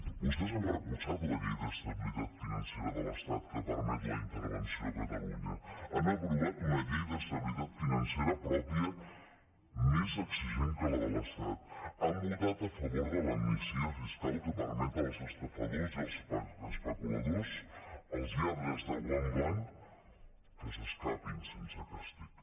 vostès han recolzat la llei d’estabilitat financera de l’estat que permet la intervenció a catalunya han aprovat una llei d’estabilitat financera pròpia més exigent que la de l’estat han votat a favor de l’amnistia fiscal que permet als estafadors i als especuladors als lladres de guant blanc que s’escapin sense càstig